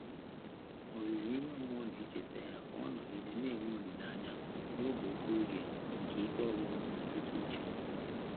Ọ́zụ́zụ́ ímé mmụ́ọ́ nà-échètá yá kà ọ́ nọ́gídé nà-ènwé ólílé ányá n’ógè òké óge nké íké ọ́gwụ́gwụ́ mmétụ́tà úchè.